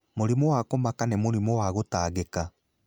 Mũrimũ wa kũmaka nĩ mũrimũ wa gũtangĩka.